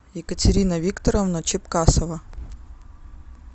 екатерина викторовна чепкасова